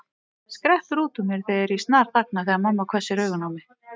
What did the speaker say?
skreppur út úr mér en ég snarþagna þegar mamma hvessir augun á mig.